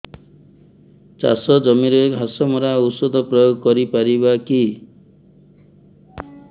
ଚାଷ ଜମିରେ ଘାସ ମରା ଔଷଧ ପ୍ରୟୋଗ କରି ପାରିବା କି